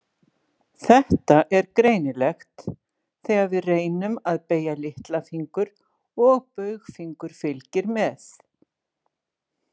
Þetta er greinilegt þegar við reynum að beygja litlafingur og baugfingur fylgir með.